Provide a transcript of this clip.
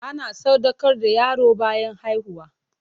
Ana sadaukar da yaro bayan haihuwa.